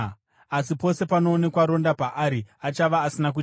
Asi pose panoonekwa ronda paari, achava asina kuchena.